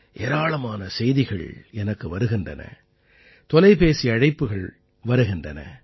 ஏராளமான செய்திகள் எனக்கு வருகின்றன தொலைபேசி அழைப்புகள் வருகின்றன